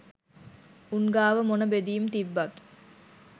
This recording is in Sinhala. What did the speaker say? උන් ගාව මොන බෙදීම් තිබ්බත්